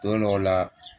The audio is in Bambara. Don dɔw la